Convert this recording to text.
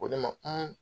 Ko ne ma